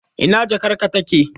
Ina jakarka take?.